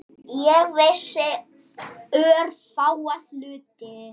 Ég vissi örfáa hluti.